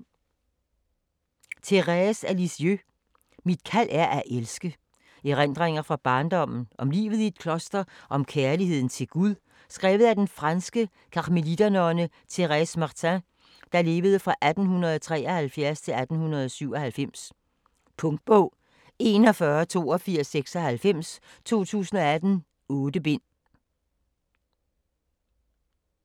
Thérèse af Lisieux: Mit kald er at elske Erindringer fra barndommen, om livet i kloster og om kærligheden til Gud, skrevet af den franske karmeliternonne Thérèse Martin (1873-1897). Punktbog 418296 2018. 8 bind.